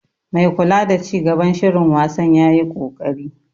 Mai kula da ci gaban shirin wasan yayi koƙari.